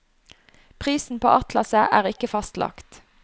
Prisen på atlaset er ikke fastlagt.